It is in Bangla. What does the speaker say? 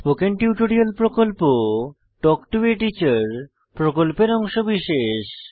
স্পোকেন টিউটোরিয়াল প্রকল্প তাল্ক টো a টিচার প্রকল্পের অংশবিশেষ